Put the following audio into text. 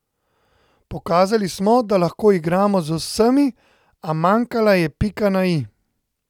Pokazali smo, da lahko igramo z vsemi, a manjkala je pika na i.